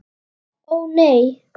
Ó, nei.